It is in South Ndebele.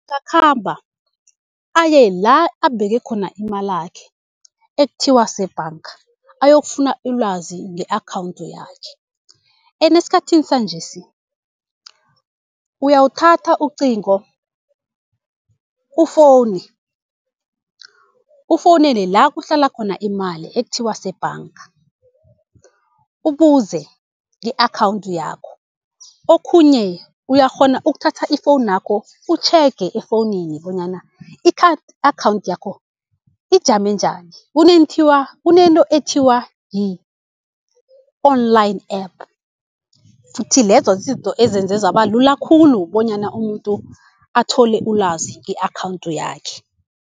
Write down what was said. Angakhamba, aye la abeke khona imalakhe ekuthiwa kusebhanga ayokufuna ilwazi nge-akhawunti yakhe. Ene esikhathini sanjesi uyawuthatha ucingo ufowune, ufowunele la kuhlala khona imali ekuthiwa kusebhanga, ubuze nge-akhawunthi yakho. Okhunye uyakghona ukuthatha ifowunakho utjhege efowunini bonyana i-card akhawunthi yakho ijame njani, kunento ethiwa yi-online app, futhi lezo zizinto ezenze zaba lula khulu bonyana umuntu athole ulazi nge-akhawuntu yakhe.